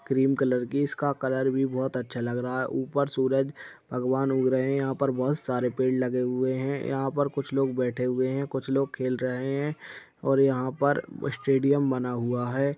Cream colour की इसका colour भी बहुत अच्छा लग रहा है उपर सूरज भगवान उग रहे हैं यहा पर बहुत सारे पेड़ लगे हुए हैं यहा पर कुछ लोग बैठे हुए हैं कुछ लोग खेल रहे हैं और यहां पर स्टेडियम बना हुआ है।